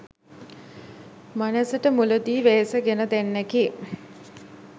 මනැසට මුලදි වෙහෙස ගෙන දෙන්නකි.